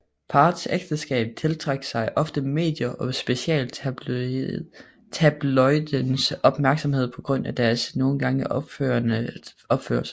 Parets ægteskab tiltrak sig ofte medie og specielt tabloidens opmærksomhed på grund af deres nogen gange oprørende opførsel